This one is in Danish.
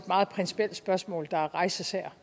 meget principielt spørgsmål der rejses her